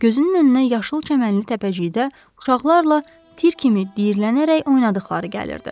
Gözünün önünə yaşıl çəmənli təpəcikdə uşaqlarla tir kimi diyirlənərək oynadıqları gəlirdi.